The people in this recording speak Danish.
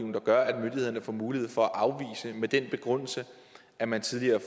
der gør at myndighederne får mulighed for at afvise med den begrundelse at man tidligere